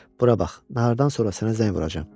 Bura bax, nahardan sonra sənə zəng vuracam.